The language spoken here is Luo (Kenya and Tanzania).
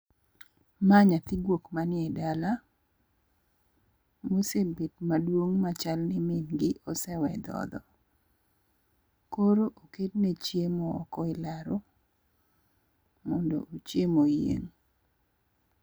Ma nyathi guok manie dala mosebet maduong' machal ni min gi osewe dhodho. Koro oketne chiemo oko elaro mondo ochiem oyieng'.